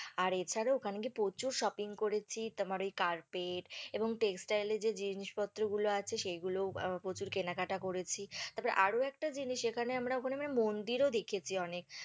আর এছাড়া ওখানে গিয়ে প্রচুর shopping করেছি, তোমার ওই carpet এবং textile এর যে জিনিসপত্র গুলো আছে সেগুলোও আহ প্রচুর কেনাকাটা করেছি, তারপরে আরও একটা জিনিস যেখানে আমরা ওখানে আমরা মন্দিরও দেখেছি অনেক।